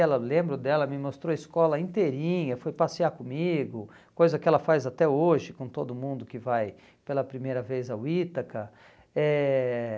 Ela lembro dela, me mostrou a escola inteirinha, foi passear comigo, coisa que ela faz até hoje com todo mundo que vai pela primeira vez ao Ítaca. Eh